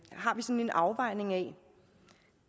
har sådan en afvejning af